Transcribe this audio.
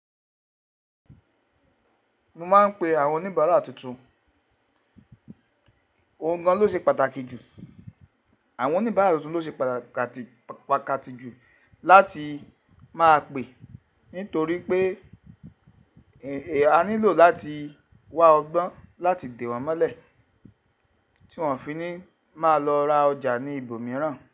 Mo máa ń pe àwọn oníbàárà tuntun. Ohun gan ló ṣe pàtàkì jù, àwọn oníbàárà tuntun ló ṣe pàtàkì jù láti máa pè nítorí pé èé a nílò láti wá ọgbọ́n láti dè wọ́n mọ́lẹ̀ tí wọ́n fi ní máa lọ ra ọjà ní ibòmíràn.